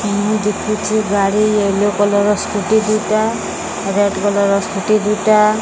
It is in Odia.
ଏଁ ଦେଖୁଚେ ଗାଡ଼ି ୟଲୋ କଲର୍ ର ସ୍କୁଟି ଦି ଟା ରେଡ୍ କଲର ର ସ୍କୁଟି ଦି ଟା --